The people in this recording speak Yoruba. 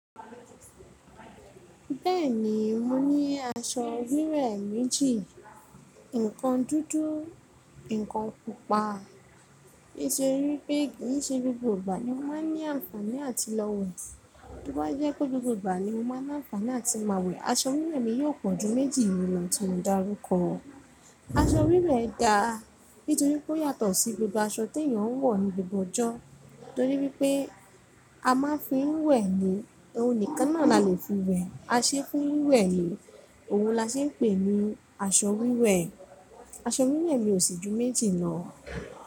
Bẹ́ẹ̀ni, mo ní aṣọ wíwẹ̀ méjì. Ǹkan dúdú, ǹkan pupa. Nítorí pé kì í ṣe gbogbo ìgbà ni mo máa ń ní àǹfààní àti lọ wẹ̀. Tó bá jẹ́ pé gbogbo ìgbà ni mo máa ń ní àǹfààní àti máa wẹ̀, aṣọ wíwe mi yóò pọ̀ ju méjì lọ, tí mo dárúkọ. Aṣọ wíwẹ̀ da nítorí pé ó yàtọ̀ sí gbogbo aṣọ tí èèyàn wọ̀ ní gbogbo ọjọ́. Nítorí pé a máa ń fi wẹ̀ ni, òun nìkan náà la lè fi wẹ̀. A ṣe é fún wíwẹ̀ ni, òun la ṣe é pè ní aṣọ wíwẹ̀. Aṣọ wíwẹ̀ mi ò sì ju méjì lọ.